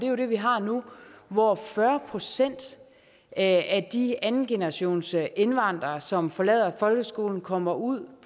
jo det vi har nu hvor fyrre procent af de andengenerationsindvandrere som forlader folkeskolen kommer ud